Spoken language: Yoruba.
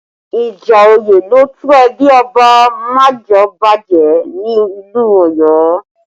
Ìjà òye ló tú ẹbí Ọba Majeobaje ni ìlú Ọ̀yọ́